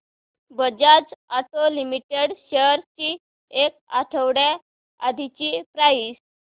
Bajaj auto limited shares ची एक आठवड्या आधीची प्राइस